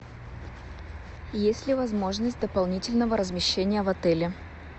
есть ли возможность дополнительного размещения в отеле